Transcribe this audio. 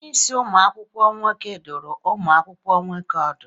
Onyeisi ụmụ akwụkwọ nwoke ọ dụrụ ụmụ akwụkwọ nwoke ọdụ?